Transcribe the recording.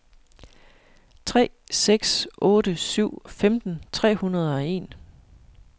tre seks otte syv femten tre hundrede og en